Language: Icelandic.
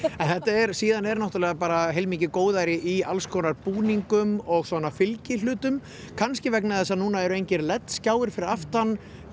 en síðan er náttúrulega bara heilmikið góðæri í alls konar búningum og svona fylgihlutum kannski vegna þess að núna eru engir skjáir fyrir aftan